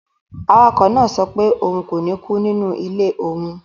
Awakọ̀ náà sọ pé òun kò ní kú nínú ilé òun